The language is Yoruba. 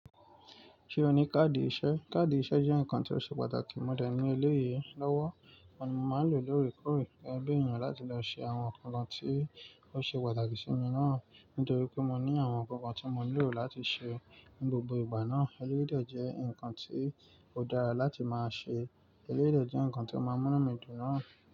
Ṣé o ní káàdì iṣẹ́? Káàdì iṣẹ́ jẹ́ ǹkan tí ó ṣe pàtàkì mọ̀ dè ní eléyìí lọ́wọ́. Oun ni mo máa ń lò ó lóòrèkóòrè gégé bí ènìyàn láti lọ ṣe àwọn ǹkan kan tí ó ṣe pàtàkì sí mi náà. Nítorí pé mo ní àwọn ǹkan kan tí mo nílò láti ṣe ní gbogbo ìgbà náà. Eléyìí dè jẹ́ ǹkan tí ó dára láti máa ṣe. Eléyìí dè jẹ́ ǹkan tí ó máa ń mú'nú mí dùn náà.